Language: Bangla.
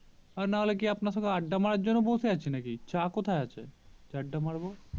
আর নাহলে কি আপনার সঙ্গে আড্ডা মারার জন্য বসে আছি নাকি চা কোথায় আছে যে আড্ডা মারবো